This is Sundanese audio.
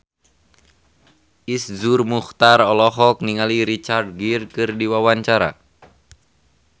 Iszur Muchtar olohok ningali Richard Gere keur diwawancara